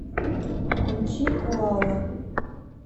включи коала